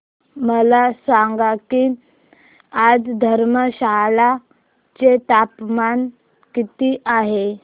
मला सांगा की आज धर्मशाला चे तापमान किती आहे